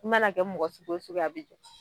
I mana kɛ mɔgɔ sugu o sugu a bi jɔ